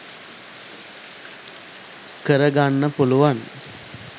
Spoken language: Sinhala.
කර ගන්න පුළුවන්.